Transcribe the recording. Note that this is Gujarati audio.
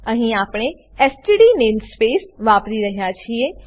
અહીં આપણે એસટીડી નેમસ્પેસ વાપરી રહ્યા છીએ